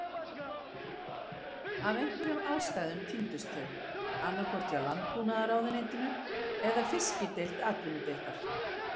Af einhverjum ástæðum týndust þau, annað hvort hjá Landbúnaðarráðuneytinu eða Fiskideild Atvinnudeildar